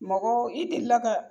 Mɔgɔ i deli la